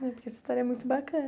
Essa história é muito bacana.